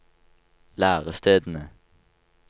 lærestedene